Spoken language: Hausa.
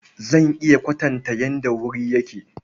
Zan iya kwatanta yadda wuri yake.